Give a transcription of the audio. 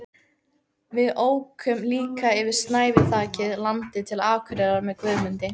Við ókum líka yfir snæviþakið landið til Akureyrar með Guðmundi